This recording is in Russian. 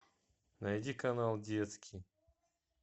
найди канал детский